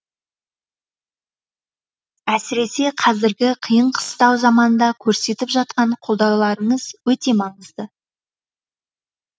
әсіресе қазіргі қиын қыстау заманда көрсетіп жатқан қолдауларыңыз өте маңызды